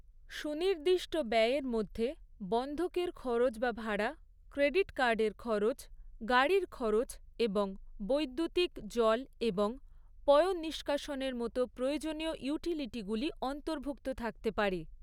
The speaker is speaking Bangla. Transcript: সুনির্দিষ্ট ব্যয়ের মধ্যে বন্ধকীর খরচ বা ভাড়া, ক্রেডিট কার্ডের খরচ, গাড়ির খরচ এবং বৈদ্যুতিক, জল এবং পয়ঃনিষ্কাশনের মতো প্রয়োজনীয় ইউটিলিটিগুলি অন্তর্ভুক্ত থাকতে পারে।